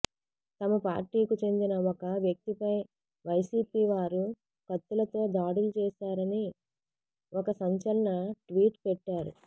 తమ పార్టీకు చెందిన ఒక వ్యక్తిపై వైసీపీ వారు కత్తులతో దాడులు చేసారని ఒక సంచలన ట్వీట్ పెట్టారు